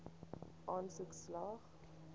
aansoek slaag